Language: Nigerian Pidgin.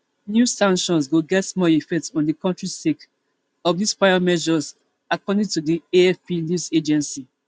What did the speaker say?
new sanctions go get small effect on di kontri sake of dis prior measures according to di afp news agency